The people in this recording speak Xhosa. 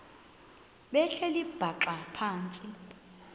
behleli bhaxa phantsi